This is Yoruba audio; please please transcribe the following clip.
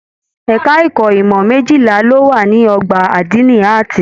Ẹka ẹ̀kọ́ ìmọ mejila ló wà ní ọgbà adini Ààtì.